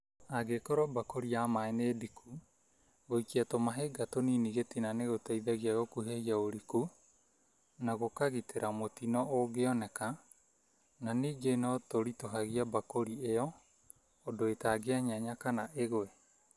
Angĩkorwo mbakũri ya maaĩ nĩ ndiku , gũikia tũmahiga tũnini gĩtina nĩgũteithaigia gũkuhĩhĩa uriku na gũkagitĩra mũtino ũngĩoneka na ningĩ no tũritũhagia mbakũri ĩo ũndũ ĩtangĩenyenya kana ĩgũe.